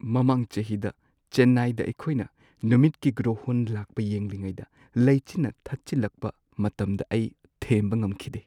ꯃꯃꯥꯡ ꯆꯍꯤꯗ ꯆꯦꯟꯅꯥꯏꯗ ꯑꯩꯈꯣꯏꯅ ꯅꯨꯃꯤꯠꯀꯤ ꯒ꯭ꯔꯣꯍꯣꯟ ꯂꯥꯛꯄ ꯌꯦꯡꯂꯤꯉꯩꯗ ꯂꯩꯆꯤꯜꯅ ꯊꯠꯆꯤꯜꯂꯛꯄ ꯃꯇꯝꯗ ꯑꯩ ꯊꯦꯝꯕ ꯉꯝꯈꯤꯗꯦ꯫